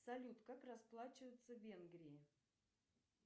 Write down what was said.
салют как расплачиваться в венгрии